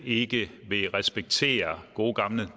ikke vil respektere gode gamle